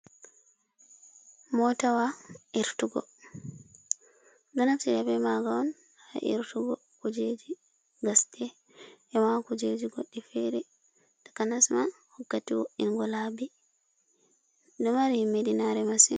Motawa irtugo, ɗo naftira be maga on ha irtugo kujeji gasɗe e ma kujeji goɗɗi fere takanas ma wakkati woddingo laabi, ɗo mari himmiɗinare masin.